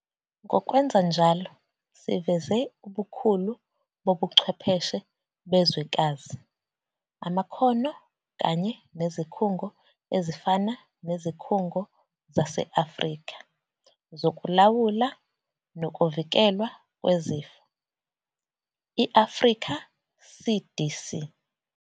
Ngokwenza njalo siveze ubukhulu bobuchwepheshe bezwekazi, amakhono kanye nezikhungo ezifana neZikhungo zase-Afrika Zokulawula Nokuvikelwa Kwezifo, i-Africa CDC.